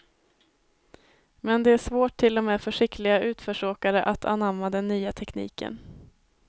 Men det är svårt till och med för skickliga utförsåkare att anamma den nya tekniken.